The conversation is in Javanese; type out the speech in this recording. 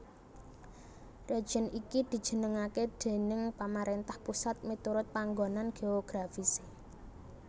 Région iki dijenengaké déning pamaréntah pusat miturut panggonan geografisé